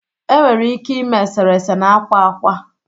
enwere ike ime eserese na akwa akwa